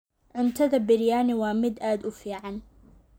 Cuntada biryani waa mid aad u fiican.